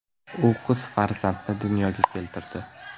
U qiz farzandni dunyoga keltirdi.